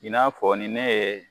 I n'a fɔ ni ne ye